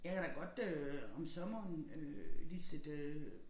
jeg kan da godt øh om sommeren øh lige sætte øh